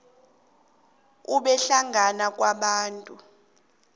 ube hlangana kwabantu